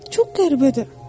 Çox qəribədir.